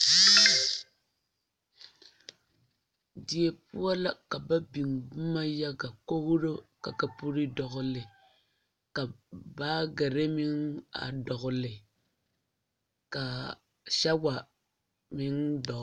Die poɔ la ka ba biŋ boma yaŋa kogro ka kapure dɔgle ka baagere meŋ a dogle ka sawa meŋ dɔgle.